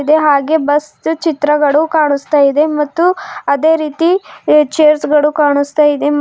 ಹಾಗೆ ಬಸ್ ಚಿತ್ರಗಳು ಕಾಣಿಸ್ತಾ ಇದೆ ಮತ್ತು ಅದೇ ರೀತಿ ಎ ಚೇರ್ಸ್ ಗಳು ಕಾಣಿಸ್ತಾ ಇದೆ.